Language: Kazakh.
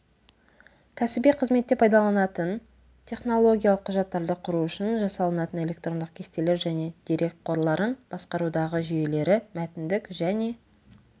кәсіби қызметте пайдаланатын технологиялық құжаттарды құру үшін жасалынатын электрондық кестелер және дерекқорларын басқарудағы жүйелері мәтіндік және